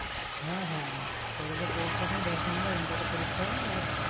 হ্যাঁ হ্যাঁ collage এর পরীক্ষার সময় দশ number internal পরীক্ষা আর